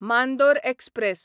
Mandore express